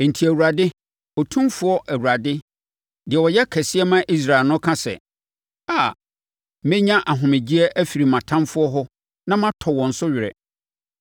Enti, Awurade, Otumfoɔ Awurade, deɛ ɔyɛ Kɛseɛ ma Israel no ka sɛ, “Aa, mɛnya ahomegyeɛ afiri mʼatamfoɔ hɔ na matɔ wɔn so were.